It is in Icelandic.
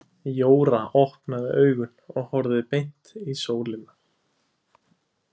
Jóra opnaði augun og horfði beint í sólina.